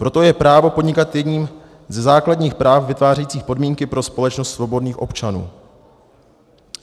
Proto je právo podnikat jedním ze základních práv vytvářejících podmínky pro společnost svobodných občanů.